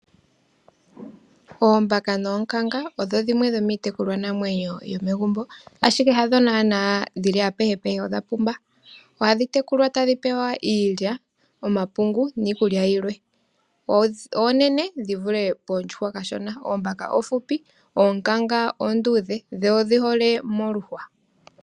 Oombaka noonkanga odho dhimwe dhomiitekulwanamwenyo yomegumbo, ihe adho naana dhili apehe, odha pumba. Ohadhi tekulwa tadhi pewa iilya, omapungu niikulya yilwe. Oonene dhi vule oondjuhwa. Oombaka oofupi, oonkanga oonduudhe dho odhi hole moluhwa.